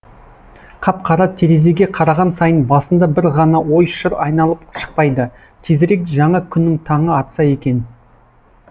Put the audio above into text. қап қара терезеге қараған сайын басында бір ғана ой шыр айналып шықпайды тезірек жаңа күннің таңы атса екен